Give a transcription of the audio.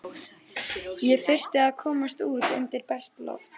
Ég þurfti að komast út undir bert loft.